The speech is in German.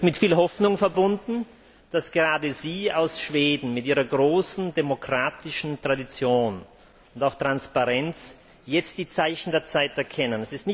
Und das ist mit viel Hoffnung verbunden, dass gerade Sie aus Schweden mit Ihrer großen demokratischen Tradition und auch Transparenz jetzt die Zeichen der Zeit erkennen.